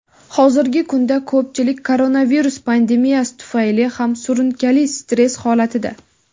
hozirgi kunda ko‘pchilik koronavirus pandemiyasi tufayli ham surunkali stress holatida.